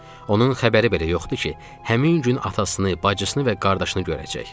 Onun xəbəri belə yoxdur ki, həmin gün atasını, bacısını və qardaşını görəcək.